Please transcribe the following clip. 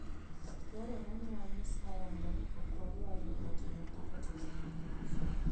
Dwarore ni wanyis ayanga ni ok wadwar ni ng'ato ang'ata otimnwa marach.